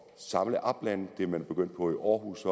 samle oplandet det er man også begyndt på i aarhus